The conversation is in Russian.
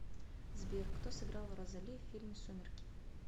сбер кто сыграл розоли в фильме сумерки